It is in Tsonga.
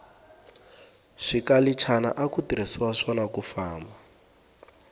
swikalichana aku tirhiswa swona kufamba